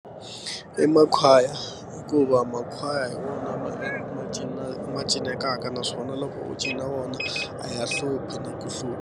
I makhwaya hikuva makhwaya hi wona ma ma cinekaka naswona loko u cina wona a ya hluphi na ku hlupha.